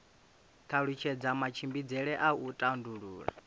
talutshedza matshimbidzele a u tandulula